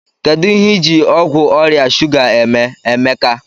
Kedu ihe ịji ọgwụ ọrịa shuga eme, Emeka?